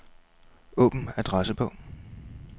Åbn adressebog.